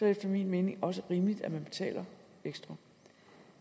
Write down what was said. efter min mening også rimeligt at man betaler ekstra